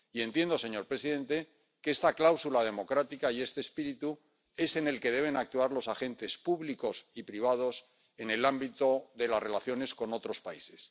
Y entiendo, señor presidente, que con esta cláusula democrática y con este espíritu deben actuar los agentes públicos y privados en el ámbito de las relaciones con otros países.